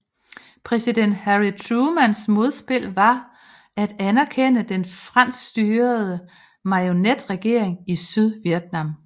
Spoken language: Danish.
Præsident Harry Trumans modspil var at anerkende den franskstyrede marionetregering i Sydvietnam